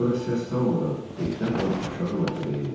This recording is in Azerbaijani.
Sonra səs salmadan ehtiyatla aşağı mərtəbəyə endim.